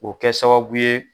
O bɛ kɛ sababu ye